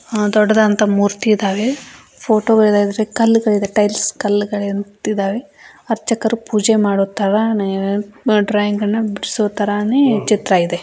ದೊಡ್ಡದಾದ ಮೂರ್ತಿ ಇದಾವೆ ಫೋಟೋ ಗಳ ಕಲ್ಲುಗಳು ಇದೇ ಟೈಲ್ಸ್ ಕಲ್ಲುಗಳು ಅರ್ಚಕರು ಪೂಜೆ ಮಾಡೋತರ ಡ್ರಾಯಿಂಗ್ ಅನ್ನೊ ಬಿಡ್ಸೋ ತರಾನೆ ಚಿತ್ರ ಇದೆ.